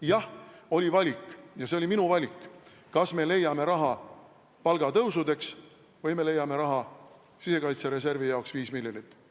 Jah, oli valik, ja see oli minu valik, kas me leiame raha palgatõusudeks või me leiame sisekaitsereservi jaoks 5 miljonit.